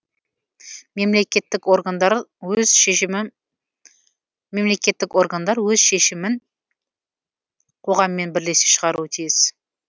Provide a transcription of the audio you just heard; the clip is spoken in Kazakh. мемлекеттік органдар өз шемімін қоғаммен бірлесе шығаруы тиіс